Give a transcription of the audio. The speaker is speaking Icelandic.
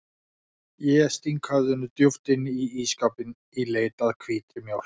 Ég sting höfðinu djúpt inn í ísskápinn í leit að hvítri mjólk.